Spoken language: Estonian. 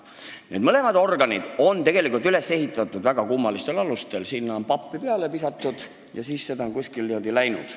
Need mõlemad organid on tegelikult üles ehitatud väga kummalistel alustel, sinna on pappi peale visatud ja siis on seda kuskile kulutatud.